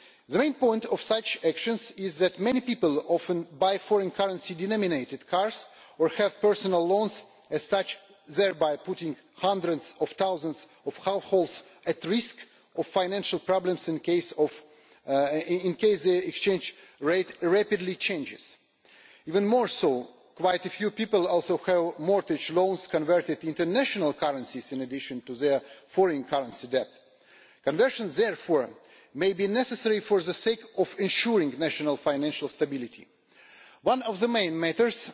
The main point of such actions is that many people often buy foreign currency denominated cars or have personal loans, thereby putting hundreds of thousands of households at risk of financial problems in case the exchange rate rapidly changes. Even more so, quite a few people also have mortgage loans converted into national currencies in addition to their foreign currency debt. Conversions therefore may be necessary for the sake of ensuring national financial stability. One of the main